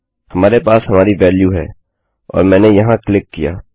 हमारे पास हमारी वेल्यू है और मैंने वहाँ क्लिक किया